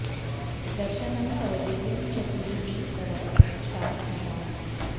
दर्शनं तव दिव्यं च कुरु मे तव सात्मताम्